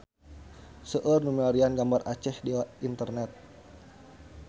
Seueur nu milarian gambar Aceh di internet